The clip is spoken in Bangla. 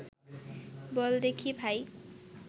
বল দেখি ভাই